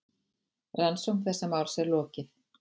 Rannsókn þessa máls er lokið.